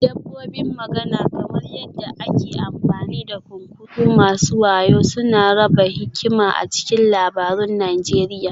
Dabbobin magana, kamar yadda ake amfani da kunkuru masu wayo suna raba hikima a cikin labarun Najeriya